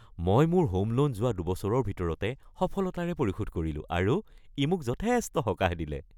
মই মোৰ home loan লোৱাৰ দুবছৰৰ ভিতৰতে সফলতাৰে পৰিশোধ কৰিলো আৰু ই মোক যথেষ্ট সকাহ দিলে।